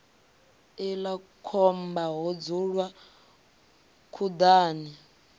iḽla khomba ho dzulwa khuḓani